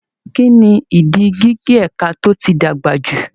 Kí ni ìdí gígé ẹ̀ka tó ti dàgbà jù?